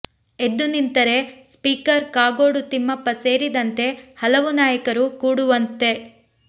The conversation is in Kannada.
ಎದ್ದು ನಿಂತರೆ ಸ್ಪೀಕರ್ ಕಾಗೋಡು ತಿಮ್ಮಪ್ಪ ಸೇರಿದಂತೆ ಹಲವು ನಾಯಕರು ಕೂಡುವಂತೆ